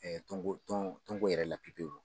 Ɛɛ Tɔnko tɔn tɔnko yɛrɛ pepewu